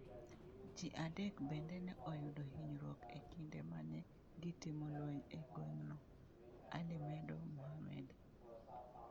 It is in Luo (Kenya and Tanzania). Ji adek bende ne oyudo hinyruok e kinde ma ne gitimo lweny e gweng’no, Ali .medo Muhammad.